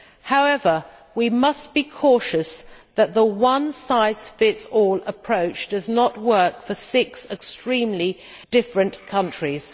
However, we must be cautious that the one size fits all approach does not work for six extremely different countries.